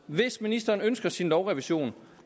hvis ministeren ønsker sin lovrevision